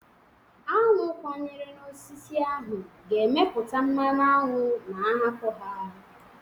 Aṅụ kwanyere n'osisi ahụ ga-emeta mmanụ aṅụ ma a hapụ ha.